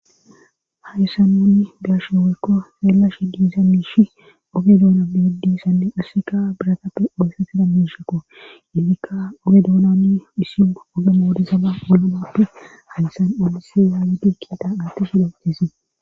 Ha issan nunni biasho weykko seellash diisa miishi oge doona miidissanne assika biratappe oyssa tida miishakko hintikka oge doonanni misiu oge moodisaba olomappe halisan alisi yaawidi kiita aatti hilhotisee.